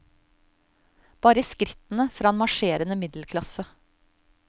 Bare skrittene fra en marsjerende middelklasse.